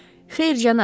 Xeyr, cənab.